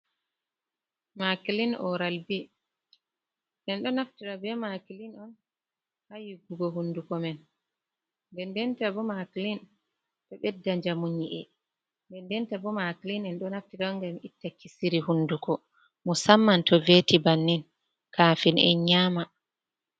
Makilin oral bi. En ɗo naftira be makilin on haa yiggugo hunduko men, nde denta bo makilin ɗo ɓeɗɗa njamu nyi’e, nde denta bo makilin en ɗo naftira on ngam itta kisiri hunduko musamman to veti bannin kafin en nyama.